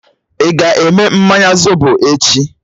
Ị ga-eme mmanya zobo echi?